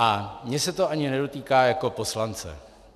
A mě se to ani nedotýká jak poslance.